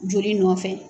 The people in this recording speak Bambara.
Joli nɔfɛ